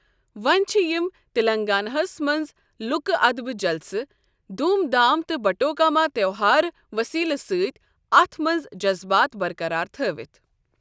ۄۄنی چھ یم تلنٛگاناہَس منٛز لوکہٕ ادبٕہ جلسٕہ، دوٗم دھام تٕہ بٹوکاما تیوٚہار وٕسیٖلٕہ سٕتی اَتھ مٕنٛز جذبات برقرار تھأوتھ